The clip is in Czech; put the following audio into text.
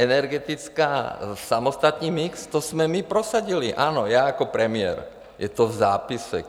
Energetická, samostatný mix, to jsme my prosadili, ano, já jako premiér, je to v zápisech.